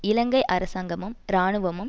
இலங்கை அரசாங்கமும் இராணுவமும்